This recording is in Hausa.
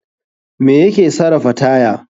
Me ya ke sarafa taya?